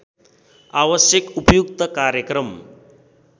आवश्यक उपयुक्त कार्यक्रम